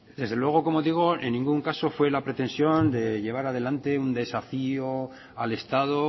desde luego como digo en ningún caso fue la pretensión de llevar adelante un desafió al estado